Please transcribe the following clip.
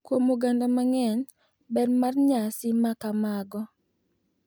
Kuom oganda mang’eny, ber mar nyasi ma kamago .